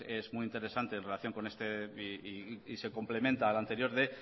es muy interesante en relación y se complementa al anterior de